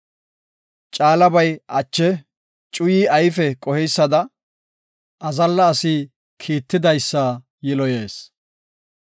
Caalabay ache, cuyi ayfe qoheysada, azalla asi kiittidaysa yiloyees.